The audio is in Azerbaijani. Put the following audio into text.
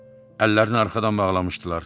Əllərini arxadan bağlamışdılar.